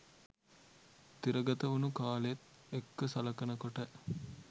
තිරගතවුණු කාලෙත් එක්ක සලකනකොට